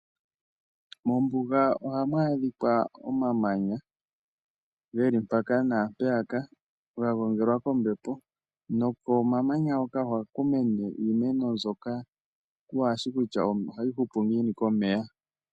Mombuga ohamu adhika omamanya geli mpaka naampeyaka ga gongelwa kombepo nokomamanya woka ohaku mene iimeno mbyoka waashi kutya ohayi hupu ngiini komeya.